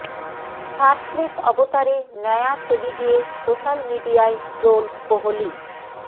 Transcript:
shirtless অবতারে নয়া ছবি দিয়ে সোশ্যাল মিডিয়ায় ট্রোলড কোহলি